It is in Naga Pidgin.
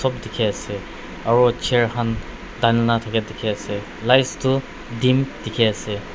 dikhi ase aro chair khan dhalina thaka dikhi ase light toh dim dikhi ase.